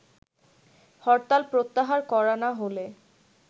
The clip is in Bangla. হরতাল প্রত্যাহার করা না হলে